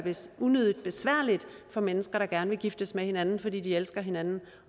unødigt besværligt for mennesker der gerne vil giftes med hinanden fordi de elsker hinanden